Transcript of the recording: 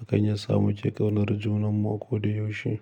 Hakan yasa muke ƙaunar junanmu ko da yaushe.